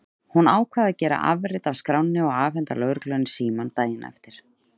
Hún ákvað að gera afrit af skránni og afhenda lögreglunni símann daginn eftir.